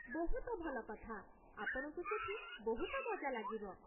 ବହୁତ ଭଲ କଥା, ଆପଣଙ୍କୁ ସେଠି ବହୁତ ମଜା ଲାଗିବ ।